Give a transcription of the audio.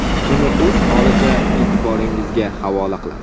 Uni o‘z holicha e’tiboringizga havola qilamiz.